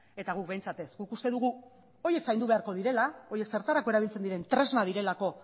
eta guk behintzat ez guk uste dugu horiek zaindu beharko direla horiek zertarako erabiltzen diren tresna direlako